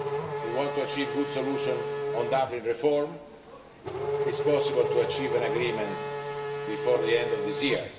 we want to achieve a good solution to the Dublin reform. It is possible to achieve an agreement before the end of this year.